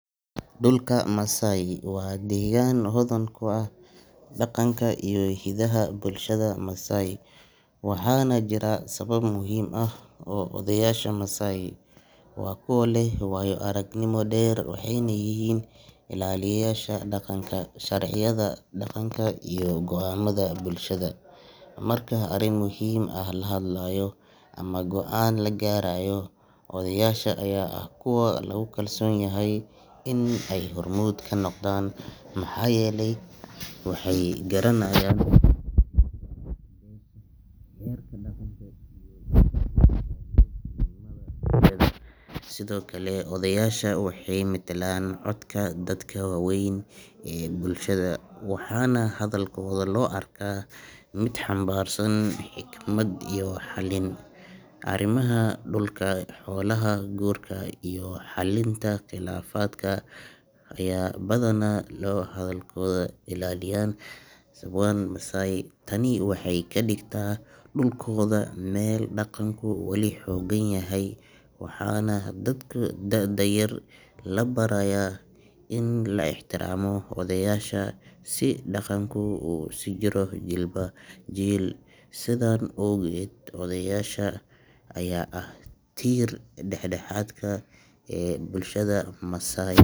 Dhulka Masai waa deegaan hodan ku ah dhaqanka iyo hiddaha bulshada Masai, waxaana jira sabab muhiim ah oo odayaasha loogu ogolyahay inay hadlaan. Odayaasha Masai waa kuwa leh waayo-aragnimo dheer, waxayna yihiin ilaaliyeyaasha dhaqanka, sharciyada dhaqanka iyo go’aamada bulshada. Marka arrin muhiim ah la hadlayo ama go’aan la gaarayo, odayaasha ayaa ah kuwa lagu kalsoon yahay inay hormuud ka noqdaan, maxaa yeelay waxay garanayaan taariikhda beesha, xeerarka dhaqanka iyo sida loo ilaaliyo midnimada bulshada. Sidoo kale, odayaasha waxay metelaan codka dadka waaweyn ee bulshadaas, waxaana hadalkooda loo arkaa mid xambaarsan xikmad iyo xallin. Arrimaha dhulka, xoolaha, guurka, iyo xalinta khilaafaadka ayaa badanaa lagu aaminaa odayaasha. Sababta ugu weyn ee hadalkooda muhiimka u yahay waa in ay ilaalinayaan kala dambeynta, xushmadda iyo dhaqanka suuban ee Masai. Tani waxay ka dhigtay dhulkooda meel dhaqanku wali xooggan yahay, waxaana dadka da’da yar la barayaa in la ixtiraamo odayaasha si dhaqanku u sii jiro jiilba jiil. Sidan awgeed, odayaasha ayaa ah tiir-dhexaadka bulshada Masai.